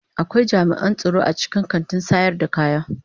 Akwai jami'an tsaro a cikin kantin sayar da kayaki.